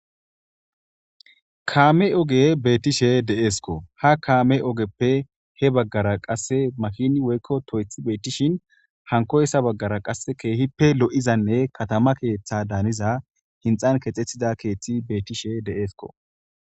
Kaame oge beetishe de'eeskko. Ha kaame oggeppe he baggara qasse makiini woyko toyththi beetishin hankoyssa bagara qa keehippe lo'izanne katama keeththa daniza hinxxan keexetida keeththi beetishe de'eskko